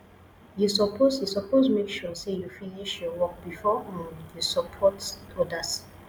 you suppose you suppose make sure sey you finish your work before um you support odas